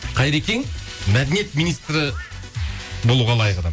қайрекең мәдениет министрі болуға лайық адам